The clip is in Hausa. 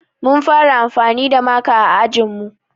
Mun fara anfani da maka a ajinmu